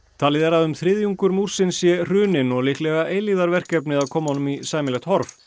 talið er að um þriðjungur múrsins sé hruninn og líklega eilífðarverkefni að koma honum í sæmilegt horf